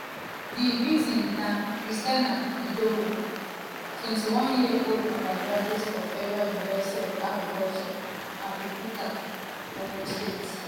di victim na christiana idowu 21-year-old undergraduate of federal university of agriculture abeokuta (funaab) ogun state.